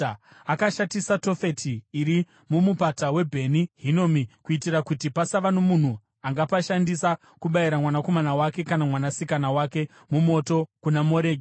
Akashatisa Tofeti iri muMupata weBheni Hinomi, kuitira kuti pasava nomunhu angapashandisa kubayira mwanakomana wake kana mwanasikana wake mumoto kuna Moreki.